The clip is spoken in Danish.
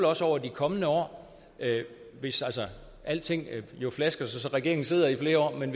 også over de kommende år hvis alting altså flasker sig så regeringen sidder i flere år men